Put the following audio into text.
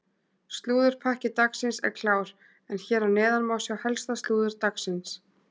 Slúðurpakki dagsins er klár en hér að neðan má sjá helsta slúður dagsins.